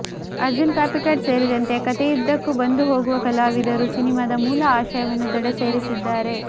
ಅರ್ಜುನ್ ಕಾಪಿಕಾಡ್ ಸೇರಿದಂತೆ ಕಥೆಯುದ್ದಕ್ಕೂ ಬಂದು ಹೋಗುವ ಕಲಾವಿದರು ಸಿನಿಮಾದ ಮೂಲ ಆಶಯವನ್ನು ದಡ ಸೇರಿಸಿದ್ದಾರೆ